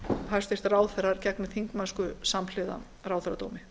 hæstvirtir ráðherrar gegni þingmennsku samhliða ráðherradómi